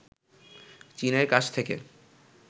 চীনের কাছ থেকে